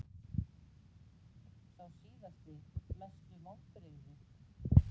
Sá síðasti Mestu vonbrigði?